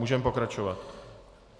Můžeme pokračovat.